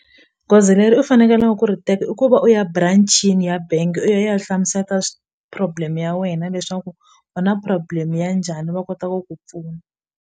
Goza leri u fanekeleke ku ri teka i ku va u ya branch-ini ya bengi u ya ya hlamuseta problem ya wena leswaku u na problem ya njhani va kota ku ku pfuna.